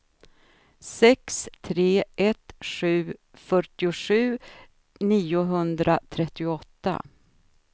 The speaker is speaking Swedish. sex tre ett sju fyrtiosju niohundratrettioåtta